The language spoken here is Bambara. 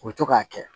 U bɛ to k'a kɛ